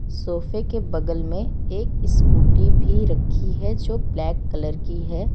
सोफे के बगल में एक स्कूटी भी रखी है जो ब्लैक कलर की है।